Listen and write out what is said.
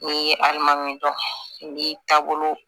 N'i ye alimami dɔ i b'i taabolo